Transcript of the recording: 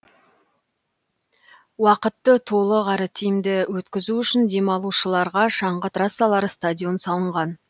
уақытты толық әрі тиімді өткізу үшін демалушыларға шаңғы трассалары стадион салынған